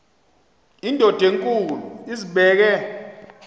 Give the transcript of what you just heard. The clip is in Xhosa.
indod enkulu izibeke